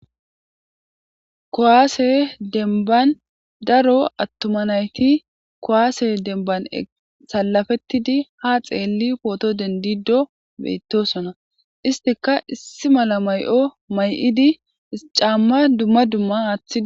Kuwasse denban daro atuma nati kwuase denban eqidi salafetidi ha poto dendido betosona istikka issi mala Mayo mayadi camma dumma dumma aththidi